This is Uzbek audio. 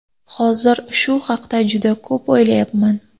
Hozir shu haqda juda ko‘p o‘ylayapman.